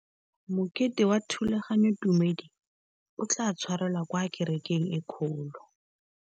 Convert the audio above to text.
Mokete wa thulaganyôtumêdi o tla tshwarelwa kwa kerekeng e kgolo.